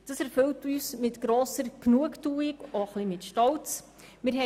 Das erfüllt uns mit grosser Genugtuung und auch ein bisschen mit Stolz.